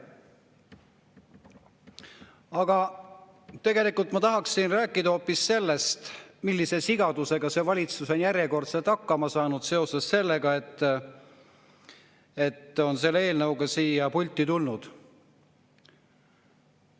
Aga tegelikult ma tahaksin rääkida hoopis sellest, millise sigadusega see valitsus on järjekordselt hakkama saanud seoses sellega, et on selle eelnõuga siia pulti tulnud.